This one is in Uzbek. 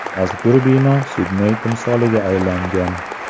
Mazkur bino Sidney timsoliga aylangan.